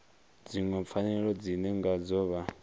dziṅwe pfanelo dzine ngadzo vha